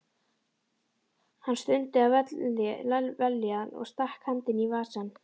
Hann stundi af vellíðan og stakk hendinni í vasann.